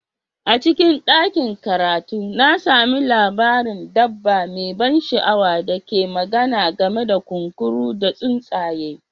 A cikin ɗakin karatu, na sami labarin dabba mai ban sha'awa da ke magana game da kunkuru da tsuntsaye